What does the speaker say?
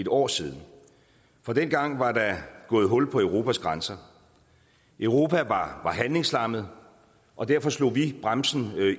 år siden dengang var der gået hul på europas grænser europa var handlingslammet og derfor slog vi bremsen